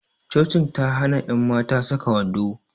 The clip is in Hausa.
Cocin ta hana ƴan mata saka wando